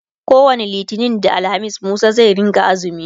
kowani littani da alhamis Musa zai rinka axumi